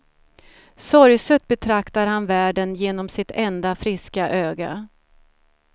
Sorgset betraktar han världen genom sitt enda friska öga.